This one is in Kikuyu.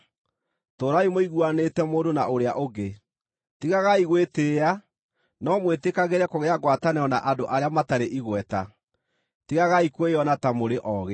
Tũũrai mũiguanĩte mũndũ na ũrĩa ũngĩ. Tigagai gwĩtĩĩa, no mwĩtĩkagĩre kũgĩa ngwatanĩro na andũ arĩa matarĩ igweta. Tigagai kwĩona ta mũrĩ oogĩ.